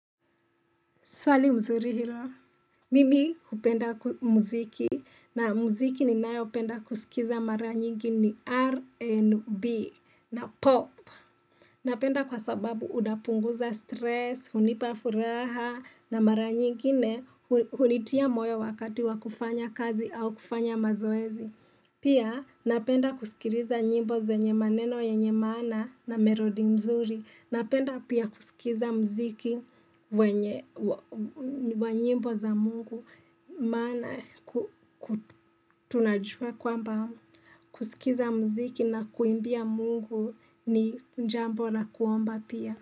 Swali nzuri hilo. Mimi kupenda muziki na muziki ninayo penda kusikiza mara nyingi ni RNB na pop. Napenda kwa sababu unapunguza stress, hunipa furaha na mara nyingine hulitia moyo wakati wa kufanya kazi au kufanya mazoezi. Pia napenda kusikiliza nyimbo zenye maneno yenye maana na melodi mzuri. Napenda pia kusikiza mziki wa nyimbo za mungu maana tunajua kwamba kusikiza mziki na kuimbia mungu ni jambo la kuomba pia.